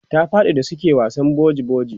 ta faɗi da suke wasan boji boji